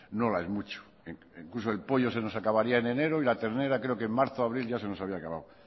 no la es mucho incluso el pollo se nos acabaría en enero y la ternera en marzo o abril y se nos habría acabado